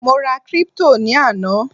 mo ra crypto ni ana